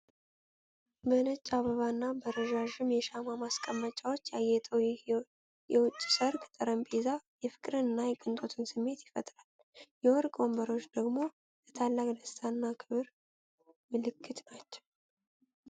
በነጭ አበባና በረዣዥም የሻማ ማስቀመጫዎች ያጌጠው ይህ የውጪ ሰርግ ጠረጴዛ የፍቅርንና የቅንጦትን ስሜት ይፈጥራል። የወርቅ ወንበሮች ደግሞ ለታላቅ ደስታና ክብር ምልክት ናቸው።